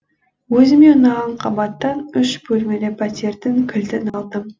өзіме ұнаған қабаттан үш бөлмелі пәтердің кілтін алдым